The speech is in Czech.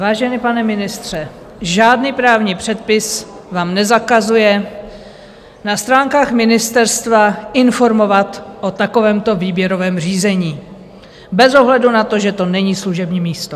Vážený pane ministře, žádný právní předpis vám nezakazuje na stránkách ministerstva informovat o takovémto výběrovém řízení, bez ohledu na to, že to není služební místo.